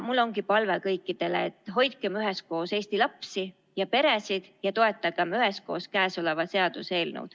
Mul ongi palve kõikidele, et hoidkem üheskoos Eesti lapsi ja peresid ja toetagem üheskoos käesolevat seaduseelnõu.